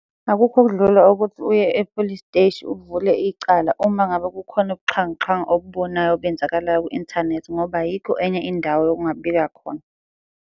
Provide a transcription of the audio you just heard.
Akukho okudlula ukuthi uye e-police steshi, uvule icala uma ngabe kukhona ubuxhwanguxhwangu obubonayo obenzakalayo ku-inthanethi ngoba ayikho enye indawo yokungabika khona.